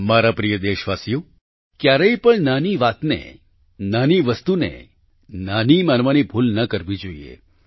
મારા પ્રિય દેશવાસીઓ ક્યારેય પણ નાની વાતને નાની વસ્તુને નાની માનવાની ભૂલ ન કરવી જોઈએ